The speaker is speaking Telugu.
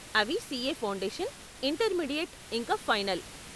అవి సీఏ ఫౌండేషన్, ఇంటర్మీడియేట్ ఇంకా ఫైనల్.